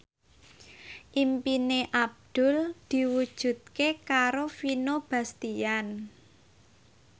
impine Abdul diwujudke karo Vino Bastian